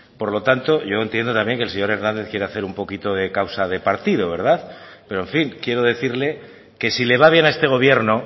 por lo tanto yo entiendo también que el señor hernández quiera hacer un poquito de causa de partido verdad pero en fin quiero decirle que si le va bien a este gobierno